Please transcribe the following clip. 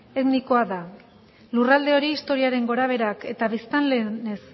etnikoa da lurralde hori historiaren gora beherak eta biztanleen